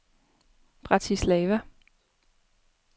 Bratislava